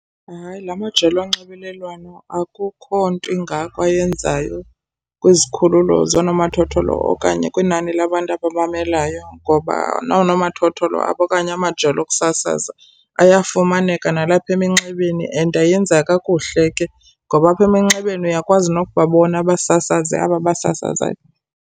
Hayi, la majelo onxibelelwano akukho nto ingako ayenzayo kwizikhululo zoonomathotholo okanye kwinani labantu abamamelayo ngoba noonomathotholo apho okanye amajelo okusasaza ayafumaneka nalapha eminxebeni. And ayenza kakuhle ke ngoba apha eminxebeni uyakwazi nokubabona abasasazi aba basasazayo.